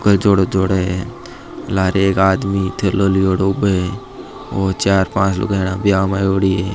कोई जोड़ो जोड़े है लारे एक आदमी थैलाे लियोडो ऊबो है और चार पांच लुगाया ब्याव में आयोड़ी है।